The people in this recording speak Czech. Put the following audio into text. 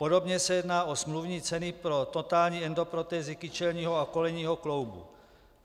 Podobně se jedná o smluvní ceny pro totální endoprotézy kyčelního a kolenního kloubu.